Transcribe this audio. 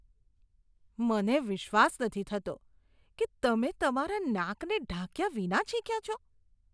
મને વિશ્વાસ નથી થતો કે તમે તમારા નાકને ઢાંક્યા વિના છીંક્યા છો.